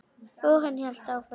Og hann hélt áfram.